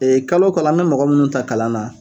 Ee kalo o kalo, an bɛ mɔgɔ minnu ta kalan na